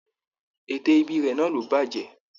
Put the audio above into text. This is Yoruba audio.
Ète íbí rẹ náà ló bàjẹ́.